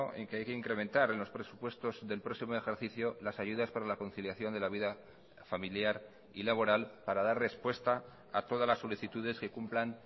en que hay que incrementar en los presupuestos del próximo ejercicio las ayudas para la conciliación de la vida familiar y laboral para dar respuesta a todas las solicitudes que cumplan